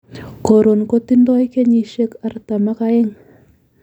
Koron kotindoi kenyisiek artam ak aeng'